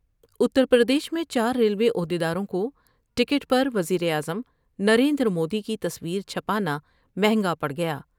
اتر پردیش میں چار ملوے عہد یداروں کو ٹکٹ پروزیراعظم نریندرمودی کی تصویر چھپانا مہنگا پڑ گیا ۔